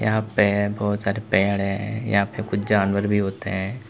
यहां पे बहुत सारे पेड़ हैं यहां पे कुछ जानवर भी होते हैं।